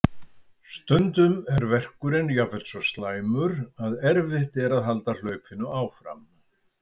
Stundum er verkurinn jafnvel svo slæmur að erfitt er að halda hlaupinu áfram.